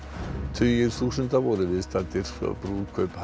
tugir þúsunda voru viðstaddir brúðkaup